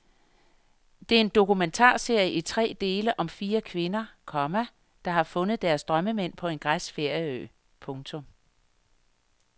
Det er en dokumentarserie i tre dele om fire kvinder, komma der har fundet deres drømmemænd på en græsk ferieø. punktum